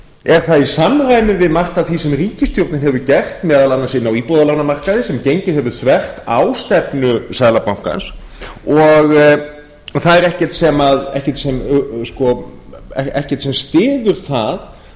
er það í samræmi við margt af því sem ríkisstjórnin hefur gert meðal annars inn á íbúðalánamarkaði sem gengið hefur þvert á stefnu seðlabankans og það er ekkert sem styður það